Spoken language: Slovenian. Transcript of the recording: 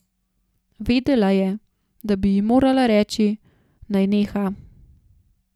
Vedela je, da bi ji morala reči, naj neha.